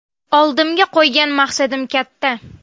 Oldimga qo‘ygan maqsadim katta.